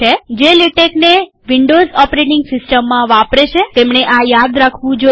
જે લેટેક્ને Windows operating સીસ્ટમમાં વાપરે છેતેમણે આ યાદ રાખવું જોઈએ